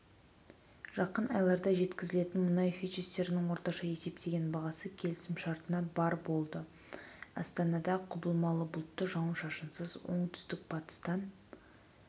жақын айларда жеткізілетін мұнай фьючерстерінің орташа есептеген бағасы келісімшартына барр болды астанада құбылмалы бұлтты жауын-шашынсыз оңтүстік-батыстан